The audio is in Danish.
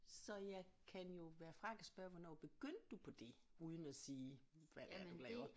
Så jeg kan jo være fræk at spørge hvornår begyndte du på det uden at sige hvad det er du laver